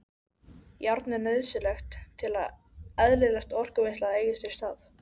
Járn er nauðsynlegt til að eðlilegt orkuvinnsla eigi sér stað.